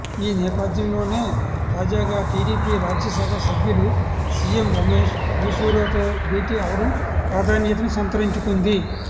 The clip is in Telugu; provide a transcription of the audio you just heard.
ఈ నేపథ్యంలోనే తాజాగా టీడీపీ రాజ్యసభ సభ్యులు సీఎం రమేష్ మైసూరాతో భేటీ అవడం ప్రాధాన్యతను సంతరించుకుంది